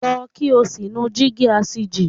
Lọ kí o sì nu Dígí asìjì!